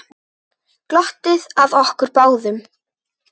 Glottir að okkur báðum.